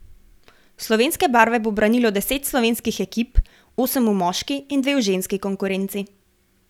Slovenske barve bo branilo deset slovenskih ekip, osem v moški in dve v ženski konkurenci.